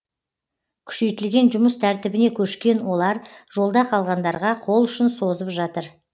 күшейтілген жұмыс тәртібіне көшкен олар жолда қалғандарға қол ұшын созып жатыр